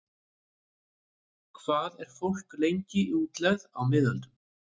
Hvað var fólk lengi í útlegð á miðöldum?